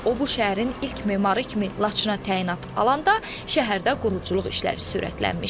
O bu şəhərin ilk memarı kimi Laçına təyinat alanda şəhərdə quruculuq işləri sürətlənmişdi.